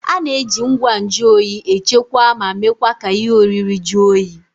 A na-eji ngwa nju oyi echekwaa ma mekwa ka ihe oriri jụọ oyi